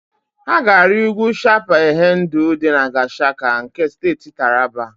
Ha ga-arị ugwu Chapal Hendu dị na Gashaka nke Steeti Taraba.